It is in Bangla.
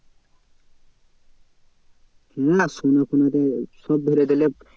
হ্যাঁ শোনা ফোনা থেকে সব ধরে দিলে